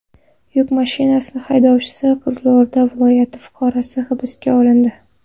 Yuk mashina haydovchisi, Qizilo‘rda viloyati fuqarosi hibsga olindi.